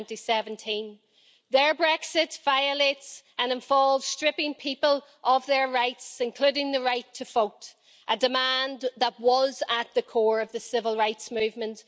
2017. Their Brexit violates and involves stripping people of their rights, including the right to vote a demand that was at the core of the civil rights movement.